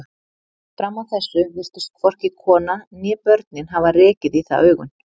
Fram að þessu virtust hvorki konan né börnin hafa rekið í það augun.